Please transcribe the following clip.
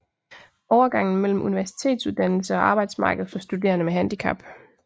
Overgangen mellem universitetsuddannelse og arbejdsmarked for studerende med handicap